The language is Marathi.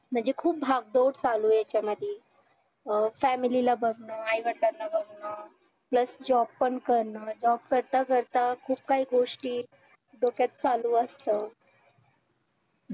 म्हणजे खुप भागदोड चालू आहे ह्यांच्यामध्ये अं family ला बघणं आईवडिलांना बघणं plus job पण करण job करता करता खुप काही गोष्टी डोक्यात चालू असतात